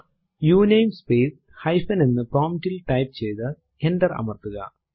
ഉണമേ space hyphen എന്ന് prompt ൽ type ചെയ്തു എന്റർ അമർത്തുക